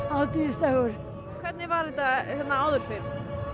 hátíðsdagur hvernig var þetta hérna áður fyrr